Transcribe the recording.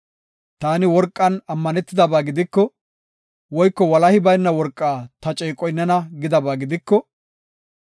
“Taani worqan ammanetidaba gidiko, woyko walahi bayna worqaa ‘Ta ceeqoy nena’ gidaba gidiko,